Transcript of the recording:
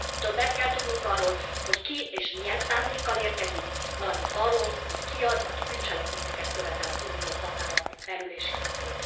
Többet kell tudnunk arról, hogy ki és milyen szándékkal érkezik, valamint arról, hogy ki az, aki bűncselekményeket követ el az Unió határain belül és kívül.